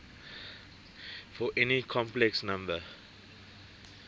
for any complex number